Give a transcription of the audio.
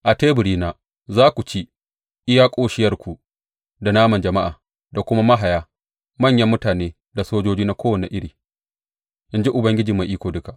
A teburina za ku ci iya ƙoshiyarku da naman jama’a da kuma mahaya, manyan mutane da sojoji na kowane iri,’ in ji Ubangiji Mai Iko Duka.